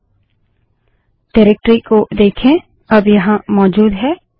निर्देशिकाडाइरेक्टरी को देखें अब यहाँ मौजूद है